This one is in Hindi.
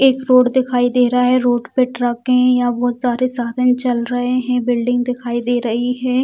एक रोड दिखाई दे रहा है रोड पे ट्रके है यहाँ बहुत सारे साधन चल रहे है बिल्डिंग दिखाई दे रही है।